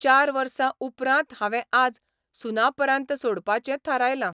चार वर्सा उपरांत हांवें आज 'सुनापरान्त 'सोडपाचें थारायलां.